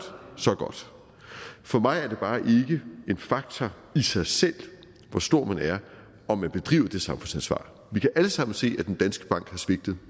så godt for mig er det bare ikke en faktor i sig selv hvor stor man er om man bedriver det samfundsansvar vi kan alle sammen se at danske bank har svigtet